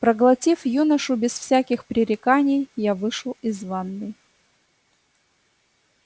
проглотив юношу без всяких пререканий я вышел из ванной